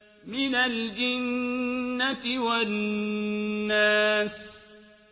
مِنَ الْجِنَّةِ وَالنَّاسِ